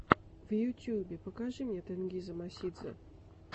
в ютюбе покажи тенгиза мосидзе